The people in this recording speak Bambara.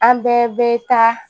An bɛɛ bɛ taa